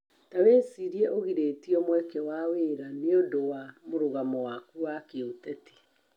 Tawĩcirie ũgirĩtio mweke wa wĩra nĩũndũ wa mũrũgamo waku wa kĩũteti